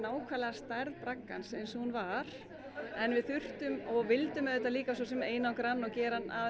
stærð braggans eins og hann var við þurftum og vildum auðvitað einangra hann og gera hann að